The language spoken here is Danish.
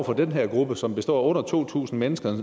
den her gruppe som består af under to tusind mennesker